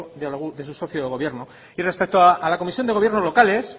de su socio de gobierno y respecto a la comisión de gobierno locales